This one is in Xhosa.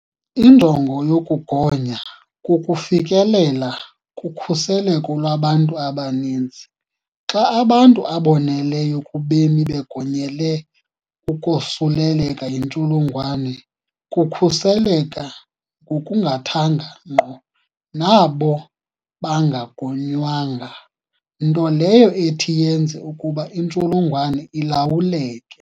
Injongo yokugonya kukufikelela kukhuseleko lwabantu abaninzi - xa abantu aboneleyo kubemi begonyele ukosuleleka yi ntsholongwane kukhuseleka ngokungathanga ngqo nabo bangagonywanga, nto leyo ethi yenze ukuba intsholo ngwane ilawuleke.